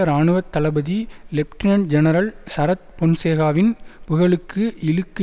இராணுவ தளபதி lieutenant general Sarath பொன்சேகாவின் புகழுக்கு இழுக்கு